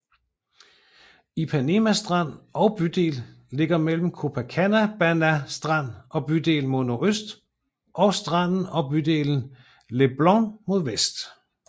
Ipanema strand og bydel ligger mellem Copacabana strand og bydel mod nordøst og stranden og bydelen Leblon mod vest